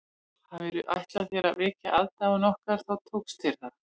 Hafirðu ætlað þér að vekja aðdáun okkar þá tókst þér það